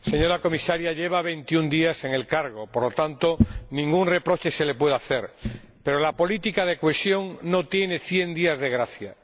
Señor Presidente, señora Comisaria, lleva veintiún días en el cargo, por lo tanto, ningún reproche se le puede hacer. Pero la política de cohesión no tiene cien días de gracia.